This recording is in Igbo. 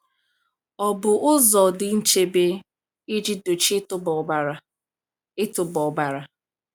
Ọ̀ bụ ụzọ dị nchebe iji dochie ịtụba ọbara? ịtụba ọbara?